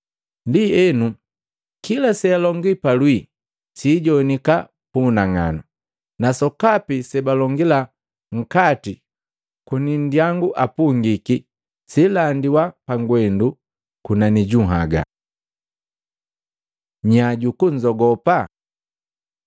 Ndienu, kila sealongi palwii sijowanika pu unang'anu, na sokapi sebalongila nkati koni nndyangu apungiki, siilandiwa pagwendu kunani ju nhaga. Nya juku nnzogopa Matei 10:28-31